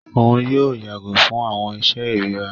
Òun yóò yàgò fún awọn iṣe irira.